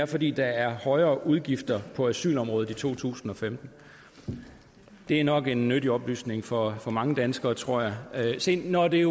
fordi der er højere udgifter på asylområdet i to tusind og femten det er nok en nyttig oplysning for for mange danskere tror jeg se når det